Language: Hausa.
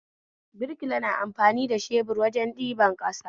Birkila na amfani da shebur wajen ɗiban ƙasa